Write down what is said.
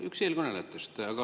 Üks eelkõnelejatest.